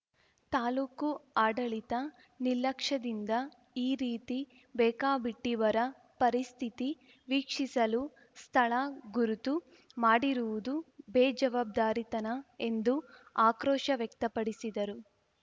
ತಾಲೂಕು ಆಡಳಿತ ನಿಲಕ್ಷ್ಯದಿಂದ ಈ ರೀತಿ ಬೇಕಾಬಿಟ್ಟಿಬರ ಪರಿಸ್ಥಿತಿ ವೀಕ್ಷಿಸಲು ಸ್ಥಳ ಗುರುತು ಮಾಡಿರುವುದು ಬೇಜವಾಬ್ದಾರಿತನ ಎಂದು ಆಕ್ರೋಶ ವ್ಯಕ್ತಪಡಿಸಿದರು